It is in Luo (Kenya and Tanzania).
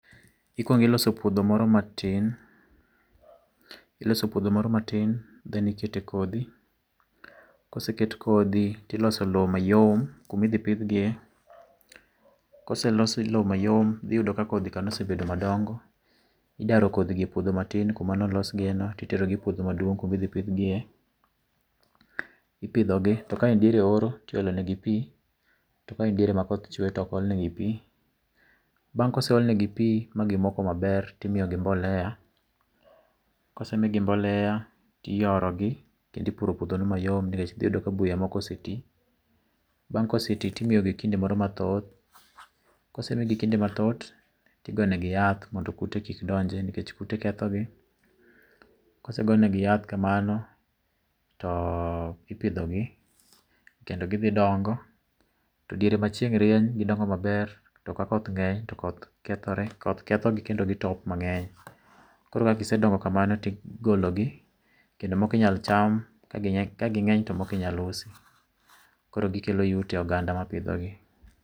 Ikuongo iloso puodho moro matin, iloso puodho moro matin then ikete kodhi, koseket kodhi tiloso lowo mayom kuma idhi pidh giye. Kose los lowo mayom, dhi yudo ka kodhi ka nosebet madongo, idaro kodhi go epuodho matin kuma nolos giyeno titerogi e puodho maduong' kuma idhi pidh giye. Ipidhogi to ka en eoro to iolo negi pi, to ka en diere ma koth chwe to ok ol negi pi. Bang' kose ol negi pi ma gimoko maber to imiyogi mbolea. Kose migi mbolea to iyorogi kendo ipuro puodhoni mayom nikech dhi yudo ka buya moko oseti. Bang' koseti to imiyogi kinde moro mathoth, kose migi kinde mathoth to igo negi yath mondo kute kik donje. Kute kethogi, kose gonegi yath kamano to ipidhogi, kendo gidhi dongo. To diere ma chieng' rieny gidongo maber, to kakoth ng'eny to koth kethore koth kethogi kendo gitop mang'eny. Koro ka gisedongo kamano to igologi kendo moko inyalo cham, kagi kaging'eny to moko inyalo usi. Koro gikelo yuto e oganda mapidhogi.